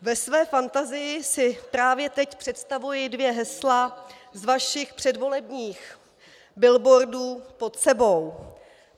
Ve své fantazii si právě teď představuji dvě hesla z vašich předvolebních billboardů pod sebou.